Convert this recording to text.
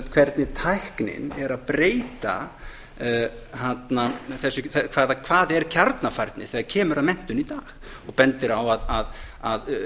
hvernig tæknin er að breyta hvað er kjarnafærni þegar kemur að menntun í dag og bendir á að